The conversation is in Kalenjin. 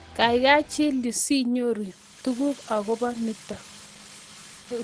Kaikai chill yuu si nyoru tuguk akopo nitok